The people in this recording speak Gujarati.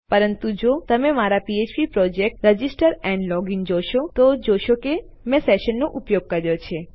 પરંતુ જો તમે મારા ફ્ફ્પ પ્રોજેક્ટ રજિસ્ટર એન્ડ લોગિન જોશો તો તમે જોશો કે મેં સેશન્સ નો ઉપયોગ કર્યો છે